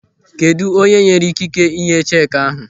Kedụ onye nyere ikike ịnye cheki ahụ?